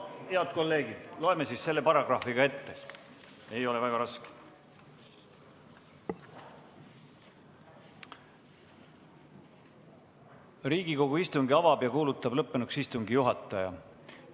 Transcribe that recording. Head kolleegid, ma loen selle paragrahvi ka ette, see ei ole väga raske: "Riigikogu istungi avab ja kuulutab lõppenuks istungi juhataja.